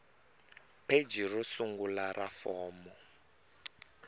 pheji ro sungula ra fomo